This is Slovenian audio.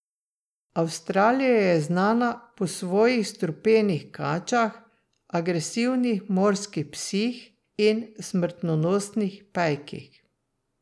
Avstralija je znana po svojih strupenih kačah, agresivnih morskih psih in smrtonosnih pajkih.